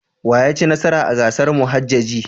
Wa ya ci nasara a gasar muhajjaji?